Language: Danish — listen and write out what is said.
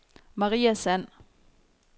Maria Sand